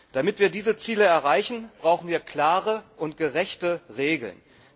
Damit wir diese Ziele erreichen, brauchen wir klare und gerechte Regeln.